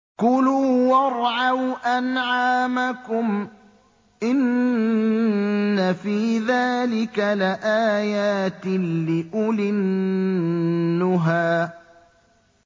كُلُوا وَارْعَوْا أَنْعَامَكُمْ ۗ إِنَّ فِي ذَٰلِكَ لَآيَاتٍ لِّأُولِي النُّهَىٰ